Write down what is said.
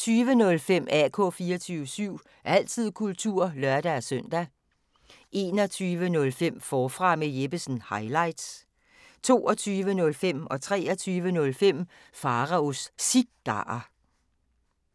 20:05: AK 24syv – altid kultur (lør-søn) 21:05: Forfra med Jeppesen – highlights 22:05: Pharaos Cigarer 23:05: Pharaos Cigarer